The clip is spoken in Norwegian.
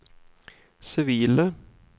sivile